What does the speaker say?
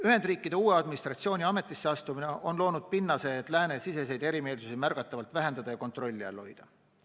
Ühendriikide uue administratsiooni ametisse astumine on loonud pinnase, et läänesiseseid erimeelsusi märgatavalt vähendada ja kontrolli all hoida.